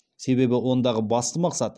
себебі ондағы басты мақсат